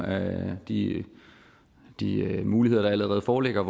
af de de muligheder der allerede foreligger